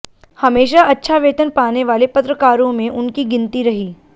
हमेशा अच्छा वेतन पाने वाले पत्रकारें में उनकी गिनती रही